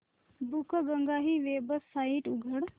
बुकगंगा ही वेबसाइट उघड